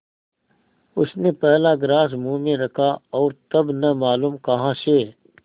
उसने पहला ग्रास मुँह में रखा और तब न मालूम कहाँ से